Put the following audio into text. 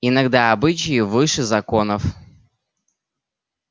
иногда обычаи выше законов